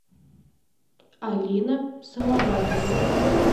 алина салаватовна